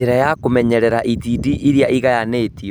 Njĩra ya kũmenyerera itindiĩ iria ĩgayanĩtio